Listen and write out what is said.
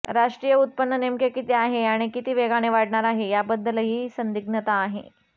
राष्ट्रीय उत्पन्न नेमके किती आहे आणि किती वेगाने वाढणार आहे याबद्दलही संदिग्धता आहे